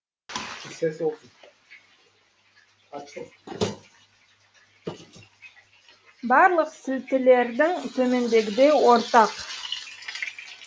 мысалы барлық сілтілердің төмендегідей ортақ